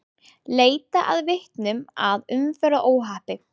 Leita að vitnum að umferðaróhappi